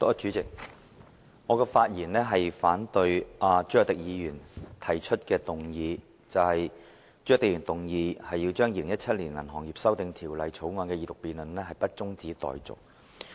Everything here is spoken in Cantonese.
代理主席，我發言反對朱凱廸議員動議的議案，不將《2017年銀行業條例草案》的二讀辯論中止待續。